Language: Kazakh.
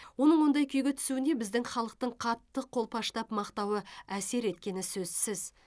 оның ондай күйге түсуіне біздің халықтың қатты қолпаштап мақтауы әсер еткені сөзсіз